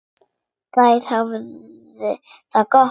Þær hafa það gott.